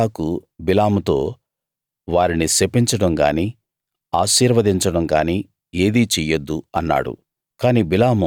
అప్పుడు బాలాకు బిలాముతో వారిని శపించడం గాని ఆశీర్వదించడం గాని ఏదీ చెయ్యొద్దు అన్నాడు